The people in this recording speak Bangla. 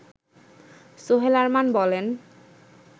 সোহেল আরমান বলেন